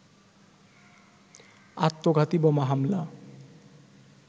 আত্মঘাতী বোমা হামলা